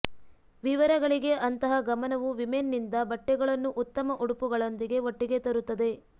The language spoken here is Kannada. ವಿವರಗಳಿಗೆ ಅಂತಹ ಗಮನವು ವಿಮೆನ್ ನಿಂದ ಬಟ್ಟೆಗಳನ್ನು ಉತ್ತಮ ಉಡುಪುಗಳೊಂದಿಗೆ ಒಟ್ಟಿಗೆ ತರುತ್ತದೆ